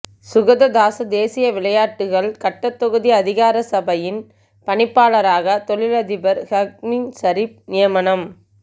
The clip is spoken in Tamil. சுகததாச தேசிய விளையாட்டுக்கள் கட்டடத்தொகுதி அதிகார சபையின் பணிப்பாளராக தொழிலதிபர் ஹக்கீம் சரீப் நியமனம்